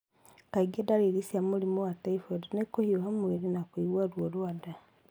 Kaingĩ, ndariri cia mũrimũ wa typhoid nĩ kũhiũha mwĩrĩ na kũigua ruo rwa nda